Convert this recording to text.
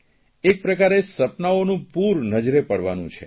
એક પ્રકારે સપનાઓનું પૂર નજરે પડવાનું છે